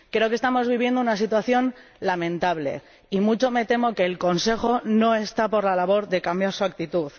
Creo que estamos viviendo una situación lamentable, y mucho me temo que el Consejo no está por la labor de cambiar su actitud.